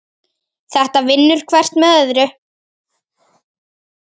Þetta vinnur hvert með öðru.